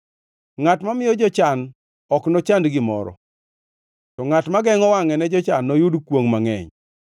Ngʼat mamiyo jochan ok nochand gimoro, to ngʼat ma gengʼo wangʼe ne jochan noyud kwongʼ mangʼeny.